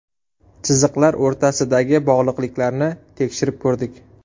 Chiziqlar o‘rtasidagi bog‘liqliklarni tekshirib ko‘rdik.